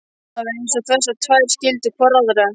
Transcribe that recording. Það var eins og þessar tvær skildu hvor aðra.